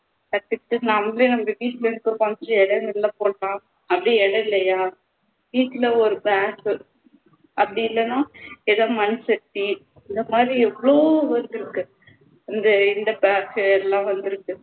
first step நம்மளே வந்து வீட்டுல இருக்கிற கொஞ்சம் இடம்ல போட்டா அப்படி இடம் இல்லையா வீட்டுல ஒரு blank அப்படி இல்லைன்னா ஏதாவது மண்சட்டி இந்தமாதிரி எவ்வளவோ work இருக்கு இந்த இந்த bag எல்லாம் வந்திருக்கு